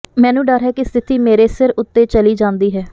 ਮੈਨੂੰ ਡਰ ਹੈ ਕਿ ਸਥਿਤੀ ਮੇਰੇ ਸਿਰ ਉੱਤੇ ਚਲੀ ਜਾਂਦੀ ਹੈ